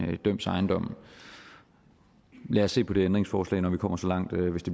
dømts ejendom lad os se på det ændringsforslag når vi kommer så langt